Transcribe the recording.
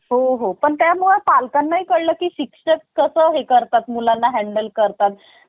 हो हो, पण त्यामुळे पालकांना ही कळल की शिक्षक कस हे करतात मुलांला handel करतात